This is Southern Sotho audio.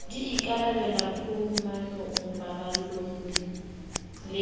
di ikarabella phumanong paballong le